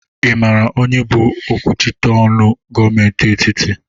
Ị mara onye bụ okwuchita ọnụ gọmenti etiti?